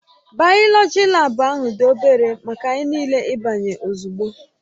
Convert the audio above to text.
Bayoloji laabu ahụ dị obere maka anyị niile ịbanye ozugbo